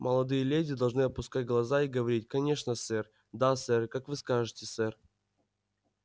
молодые леди должны опускать глаза и говорить конечно сэр да сэр как вы скажете сэр